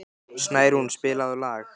Snærún, spilaðu lag.